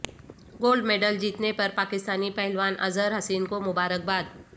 gold medal جیتنے پر پاکستانی پہلوان اظہر حسین کو مبارک باد